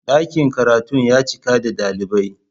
Dakin karatun ya cika da dalibai.